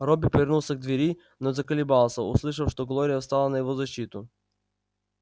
робби повернулся к двери но заколебался услышав что глория встала на его защиту